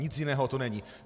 Nic jiného to není.